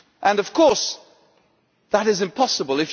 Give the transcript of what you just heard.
Of course, that is impossible.